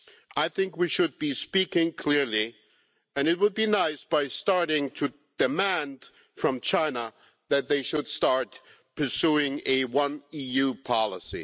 I think we should be speaking clearly and it would be nice to do so by starting to demand from China that they start pursuing a One EU' policy.